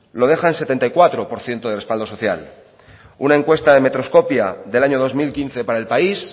lo deja en setenta y cuatro por ciento de respaldo social una encuesta de metroscopia del año dos mil quince para el país